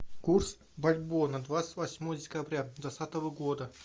курс бальбоа на двадцать восьмое декабря двадцатого года